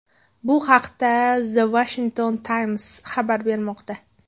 Bu haqda The Washington Times xabar bermoqda .